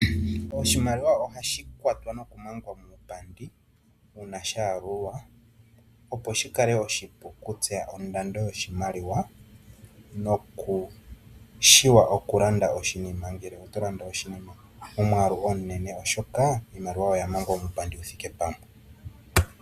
Oshimaliwa ohashi kwatwa noku mangwa muupandi uuna shaalulwa, opo shi kale oshipu ku tseya ondando yoshimaliwa nokutseya okulanda oshinima ngele oto landa oshinima momwaalu omunene oshoka iimaliwa oya mangwa muupandi wuthike pamwe.